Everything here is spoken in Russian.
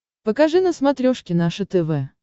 покажи на смотрешке наше тв